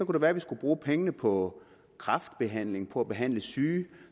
det være at vi skulle bruge pengene på kræftbehandling på at behandle syge